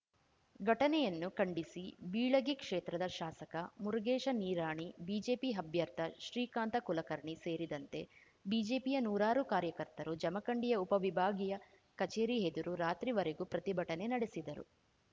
ಘಟನೆಯನ್ನು ಖಂಡಿಸಿ ಬೀಳಗಿ ಕ್ಷೇತ್ರದ ಶಾಸಕ ಮುರಗೇಶ ನಿರಾಣಿ ಬಿಜೆಪಿ ಅಭ್ಯರ್ಥ ಶ್ರೀಕಾಂತ ಕುಲಕರ್ಣಿ ಸೇರಿದಂತೆ ಬಿಜೆಪಿಯ ನೂರಾರು ಕಾರ್ಯಕರ್ತರು ಜಮಖಂಡಿಯ ಉಪವಿಭಾಗೀಯ ಕಚೇರಿ ಎದುರು ರಾತ್ರಿವರೆಗೂ ಪ್ರತಿಭಟನೆ ನಡೆಸಿದರು